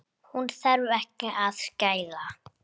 Hún þarf ekki að skæla.